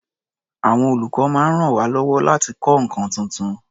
Àwọn olùkọ́ máa ń ràn wá lọ́wọ́ láti kọ́ nǹkan tuntun.